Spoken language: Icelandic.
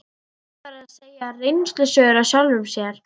Siggi var að segja reynslusögur af sjálfum sér.